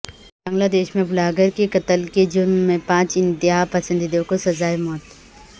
بنگلہ دیش میں بلاگر کے قتل کے جرم میں پانچ انتہا پسندوں کو سزائے موت